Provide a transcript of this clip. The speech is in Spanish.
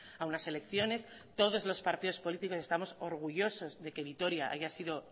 a unas elecciones todos los partidos políticos estamos orgullosos de que vitoria haya sido